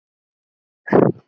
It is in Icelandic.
Hún setur hann í vasann.